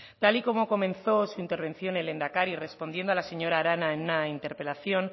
tal y como comenzó su intervención el lehendakari respondiendo a la señora arana en una interpelación